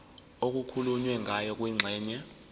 okukhulunywe ngayo kwingxenye